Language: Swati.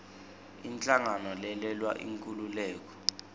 inhlangano lelwela inkhululeko